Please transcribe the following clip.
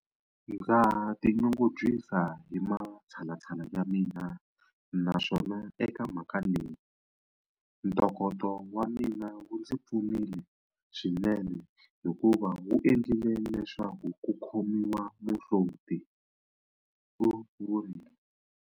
Ndza tinyungubyisa hi matshalatshala ya mina naswona eka mhaka leyi, ntokoto wa mina wu ndzi pfunile swinene hikuva wu endlile leswaku ku khomiwa muhloti, u vurile.